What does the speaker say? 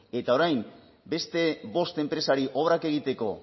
eta orain beste bost enpresari obrak egiteko